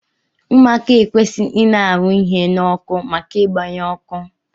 Ụmụaka ekwesighi ina arụ ihe na ọkụ maka igba ya ọkụ!